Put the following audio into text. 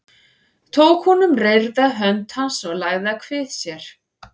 Tók hún um reyrða hönd hans og lagði að kvið sér.